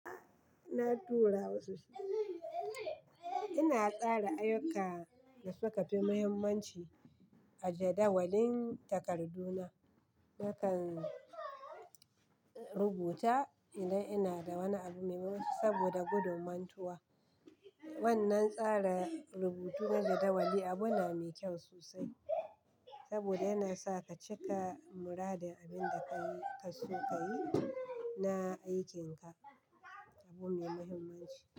Na tura wasu shi. Ina kara ayyuka da suka fi muhimmanci a jadawalin takardu na. Nakan rubuta idan ina da wani abu mai mahimmanci saboda gudumantuwa. Wannan tsara rubutu na jadawali abu na mai kyau sosai saboda yana sa ka cika muradin abin da ka so ka yi na aikinka. Abu mai muhimmanci.